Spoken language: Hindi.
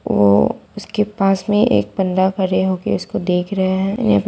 वो उसके पास मे एक बन्दा खड़े होके उसको देख रहे हैं । यह --